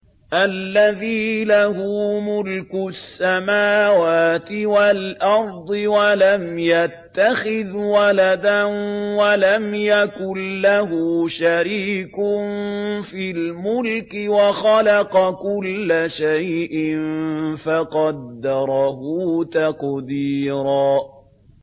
الَّذِي لَهُ مُلْكُ السَّمَاوَاتِ وَالْأَرْضِ وَلَمْ يَتَّخِذْ وَلَدًا وَلَمْ يَكُن لَّهُ شَرِيكٌ فِي الْمُلْكِ وَخَلَقَ كُلَّ شَيْءٍ فَقَدَّرَهُ تَقْدِيرًا